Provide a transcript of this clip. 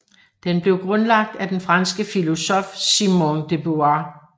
Den blev grundlagt af den franske filosof Simone de Beauvoir